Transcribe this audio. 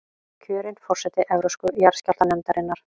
Kjörin forseti Evrópsku jarðskjálftanefndarinnar